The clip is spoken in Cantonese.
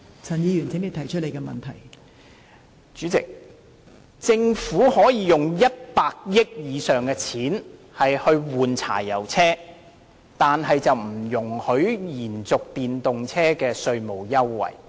代理主席，政府可以在更換柴油車上花超過100億元，但卻不容許延續電動車的稅務優惠。